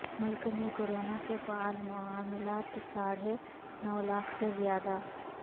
ملک میں کورونا کے فعال معاملات ساڑھے نو لاکھ سے زیادہ